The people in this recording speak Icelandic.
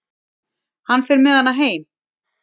Hann fer með hana heim.